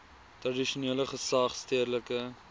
tradisionele gesag stedelike